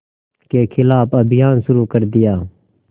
के ख़िलाफ़ अभियान शुरू कर दिया